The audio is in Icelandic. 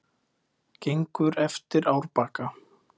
Gengur eftir árbakka.